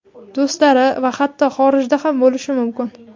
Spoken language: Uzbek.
do‘stlari va hatto xorijda ham bo‘lishi mumkin.